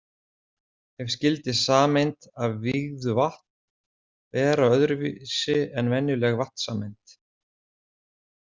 En skyldi sameind af vígðu vatn vera öðru vísi en venjuleg vatnssameind?